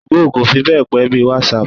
Two-go kò fi be pe bí í WhatsApp.